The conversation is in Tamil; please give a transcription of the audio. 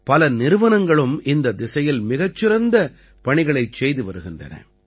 பல நிறுவனங்களும் இந்தத் திசையில் மிகச் சிறந்த பணிகளைச் செய்து வருகின்றன